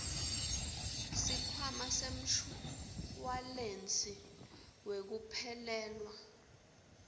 sikhwama semshuwalensi wekuphelelwa